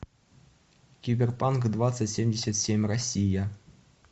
киберпанк двадцать семьдесят семь россия